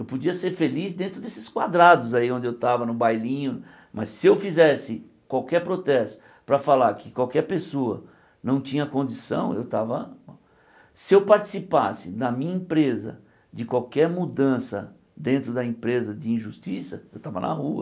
Eu podia ser feliz dentro desses quadrados aí onde eu tava, no bailinho, mas se eu fizesse qualquer protesto para falar que qualquer pessoa não tinha condição, eu tava... Se eu participasse da minha empresa de qualquer mudança dentro da empresa de injustiça, eu tava na rua.